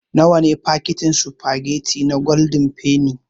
Nawa ne fakitin sufagetti na gwaldin fenni.